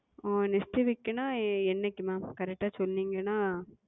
ஆஹ் Next Week என்றால் எத்தினம் Mam correct ஆ சொன்னீர்கள் என்றால்